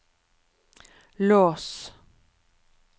lås